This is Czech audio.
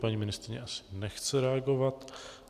Paní ministryně asi nechce reagovat.